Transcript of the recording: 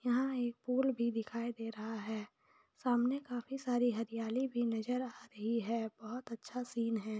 यहाँ एक पूल भी दिखाई दे रहा है सामने काफी सारी हरियाली भी नजर आ रही है बहुत अच्छा सीन है।